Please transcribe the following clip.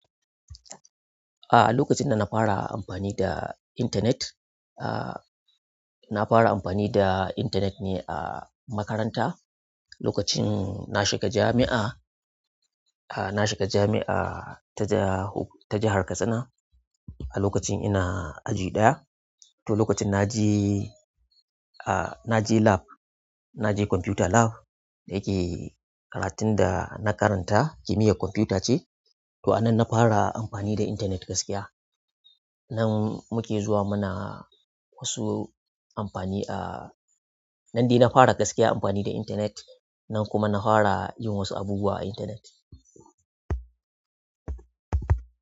Aa lokacin da na fara amfani da intanet a nafara amfani da intanet a makaranta lokacin na shiga jamia. Ah, na shiga jami'a ta ja jahar Katsina a lokacin ina aji ɗaya. To lokacin na je, ah, na je lab, na je computer lab da yake karatun da na karanta kimiyyar kwamfuta ce. To a nan na fara amfani da internet gaskiya. Nan muke zuwa muna wasu amfani a-- nan de na fara gaskiya amfani da internet nan kuma na fara yin wasu abubuwa a internet.